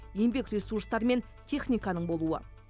еңбек ресурстары мен техниканың болуы